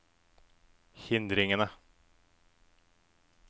hindringene